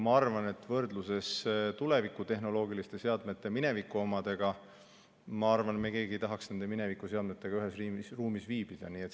Ma arvan, et kui võrrelda tuleviku tehnoloogilisi seadmeid mineviku omadega, siis me keegi ei tahaks nende minevikuseadmetega ühes ruumis viibida.